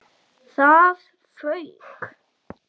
ÞAÐ FAUK!